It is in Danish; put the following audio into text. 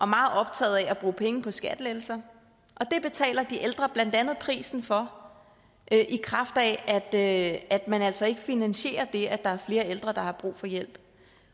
meget optaget af at bruge penge på skattelettelser og det betaler de ældre blandt andet prisen for i kraft af at man altså ikke finansierer det at der er flere ældre der har brug for hjælp